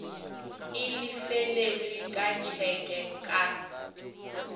e lefetšwe ka tšheke ka